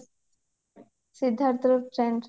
Siddharth